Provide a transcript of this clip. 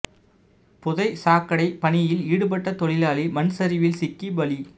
புதை சாக்கடை பணியில் ஈடுபட்ட தொழிலாளி மண் சரிவில் சிக்கி பலி